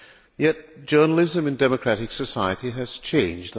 Yet journalism in democratic society has changed.